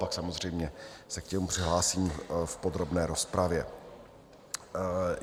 Pak samozřejmě se k němu přihlásím v podrobné rozpravě.